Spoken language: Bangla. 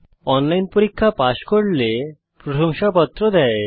অনলাইন পরীক্ষা পাস করলে প্রশংসাপত্র দেওয়া হয়